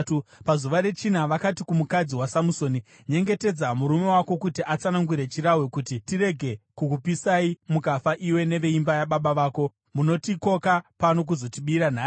Pazuva rechina, vakati kumukadzi waSamusoni, “Nyengetedza murume wako kuti atsanangure chirahwe kuti tiregere kukupisai mukafa iwe neveimba yababa vako. Munotikoka pano kuzotibira nhai?”